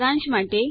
સારાંશ માટે